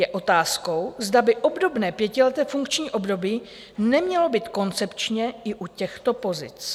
Je otázkou, zda by obdobné pětileté funkční období nemělo být koncepčně i u těchto pozic.